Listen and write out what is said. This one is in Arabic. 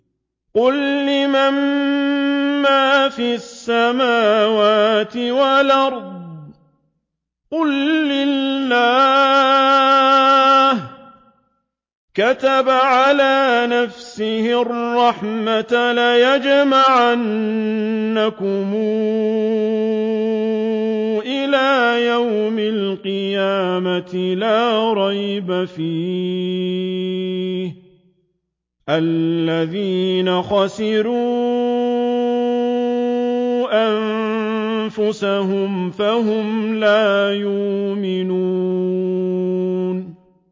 قُل لِّمَن مَّا فِي السَّمَاوَاتِ وَالْأَرْضِ ۖ قُل لِّلَّهِ ۚ كَتَبَ عَلَىٰ نَفْسِهِ الرَّحْمَةَ ۚ لَيَجْمَعَنَّكُمْ إِلَىٰ يَوْمِ الْقِيَامَةِ لَا رَيْبَ فِيهِ ۚ الَّذِينَ خَسِرُوا أَنفُسَهُمْ فَهُمْ لَا يُؤْمِنُونَ